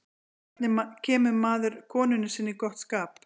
hvernig kemur maður konunni sinni í gott skap